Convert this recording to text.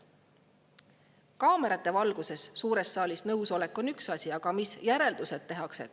Kaamerate valguses suures saalis nõusolek on üks asi, aga mis järeldused tehakse?